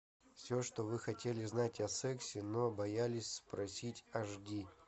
все что вы хотели знать о сексе но боялись спросить аш ди